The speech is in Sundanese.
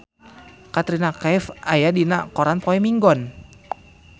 Katrina Kaif aya dina koran poe Minggon